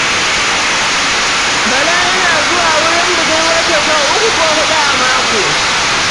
Bala yana zuwa wurin budurwarsa sau uku ko huɗu a mako